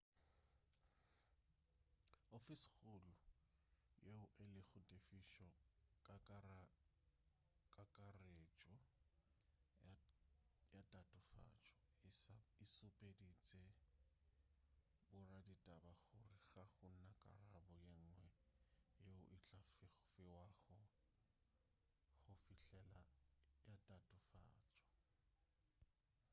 ofisi-kgolo yeo e lego tefišo kakaretšo ya tatofatšo e šupeditše boraditaba gore ga go na karabo yenngwe yeo e tla fiwago go fihlela ka tatofatšo